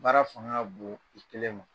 Baara faŋa ka boon i kelen ma.